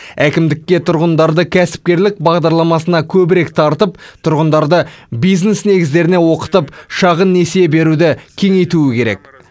әкімдікке тұрғындарды кәсіпкерлік бағдарламасына көбірек тартып тұрғындарды бизнес негіздеріне оқытып шағын несие беруді кеңейту керек